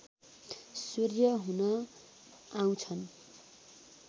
सूर्य हुन आउँछन्